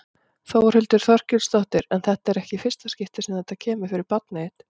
Þórhildur Þorkelsdóttir: En þetta er ekki í fyrsta skipti sem þetta kemur fyrir barnið þitt?